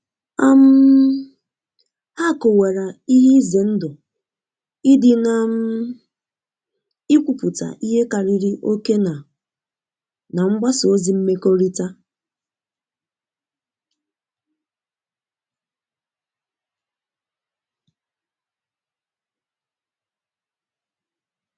um ha kowara ihe ize ndu idi na um ikwụputa ihe kariri oke na na mgbasa ozi mmekorita